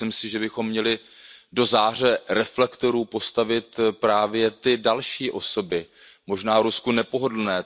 Myslím si, že bychom měli do záře reflektorů postavit právě ty další osoby, možná Rusku nepohodlné.